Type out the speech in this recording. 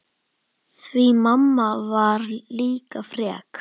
Því mamma var líka frek.